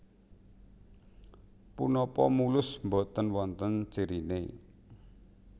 Punapa mulus boten wonten ciriné